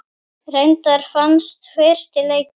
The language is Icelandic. Reyndar vannst fyrsti leikur.